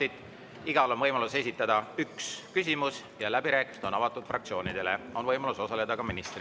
Igal on võimalus esitada üks küsimus ja läbirääkimised on avatud fraktsioonidele, võib osaleda ka minister.